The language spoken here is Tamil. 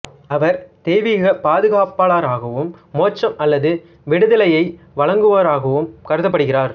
அவர் தெய்வீக பாதுகாப்பாளராகவும் மோட்சம் அல்லது விடுதலையை வழங்குபவராகவும் கருதப்படுகிறார்